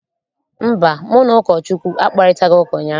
Mba, mụ na Ụkọchukwu akparịtaghị ụka ụnyaahụ.